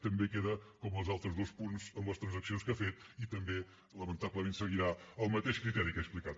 també queda com els altres dos punts amb les transaccions que ha fet i també lamentablement seguirà el mateix criteri que he explicat